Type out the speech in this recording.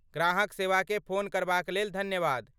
ग्राहक सेवाकेँ फोन करबाक लेल धन्यवाद।